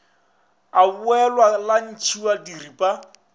a ebolwa la ntšhiwa diripa